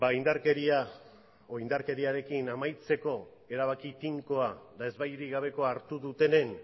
indarkeriarekin amaitzeko erabaki tinkoa eta ezbairik gabekoa hartu dutenen